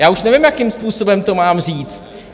Já už nevím, jakým způsobem to mám říct.